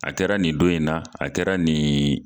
A kɛra nin don in na a kɛra nin